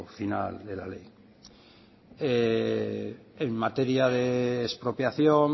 final de la ley en materia de expropiación